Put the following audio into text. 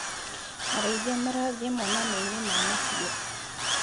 Arĩithia marathiĩ monanioinĩ ma mahiũ.